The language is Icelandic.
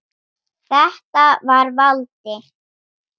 Þetta var Valdi.